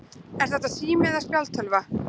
Er þetta sími eða spjaldtölva?